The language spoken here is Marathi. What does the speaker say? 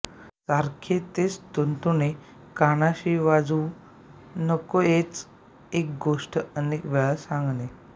सारखे तेच तुणतुणे कानाशी वाजवू नकोएकच एक गोष्ट अनेक वेळा सांगणे